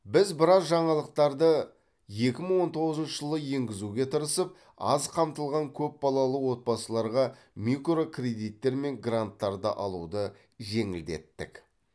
біз біраз жаңалықтарды екі мың он тоғызыншы жылы енгізуге тырысып аз қамтылған көпбалалы отбасыларға микрокредиттер мен гранттарды алуды жеңілдеттік